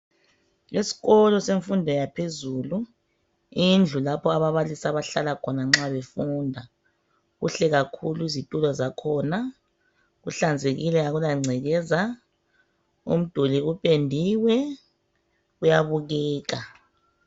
Esikolo semfundo yaphezulu. Indlu lapho ababalisi abahlala khona nxa befunda. Kuhle kakhulu izitulo zakhona. Kuhlanzekile akulangcekeza. Umduli upendiwe uyabukeka.